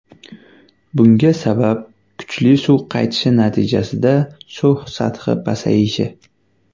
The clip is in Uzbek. Bunga sabab kuchli suv qaytishi natijasida suv sathi pasayishi.